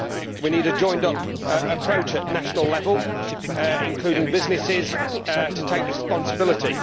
We need a joined up approach at national level, including businesses to take responsibility.